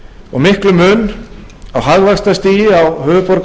og miklum mun á hagvaxtarstigi á höfuðborgarsvæði og